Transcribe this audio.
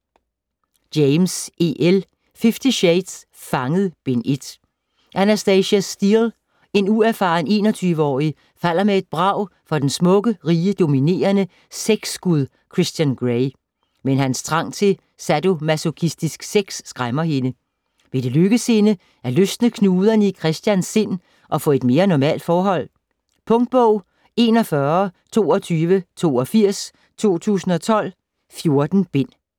James, E. L.: Fifty shades: Fanget: Bind 1 Anastasia Steele, en uerfaren 21-årig, falder med et brag for den smukke, rige, dominerende sexgud Christian Grey. Men hans trang til sadomasochistisk sex skræmmer hende. Vil det lykkes at løsne knuderne i Christians sind og få et mere normalt forhold? Punktbog 412282 2012. 14 bind.